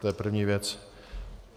To je první věc.